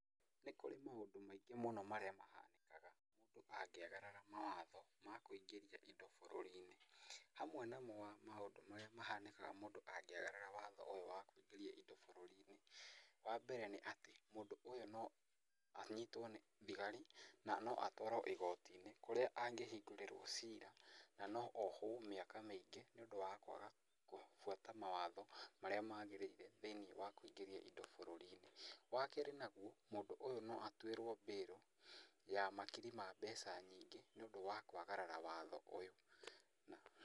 Nĩ kũrĩ maũndũ maingĩ mũno mahanĩkaga mũndũ angĩagarara mawatho ma kũingĩria indũ bũrũri-inĩ. Hamwe namo wa maũndũ marĩa mahanĩkaga mũndũ angĩagarara watho ũyũ wa kũingĩria indo bũrũri-ini wa mbere nĩ atĩ mũndũ ũyũ no anyitwo nĩ thigari na no atwarwo igoti-inĩ kũrĩa angĩhingũrirwo ciira. Na no ohwo mĩaka mĩingĩ nĩ ũndũ wa kwaga gũbuata mawatho marĩa magĩrĩire nĩ ũndũ wa kũingĩria indo bũrũri-inĩ. Wa kerĩ naguo mũndũ ũyũ no atuĩrwo bail ya makiri ma mbeca nyingĩ nĩ ũndũ wa kwagarara watho ũyũ.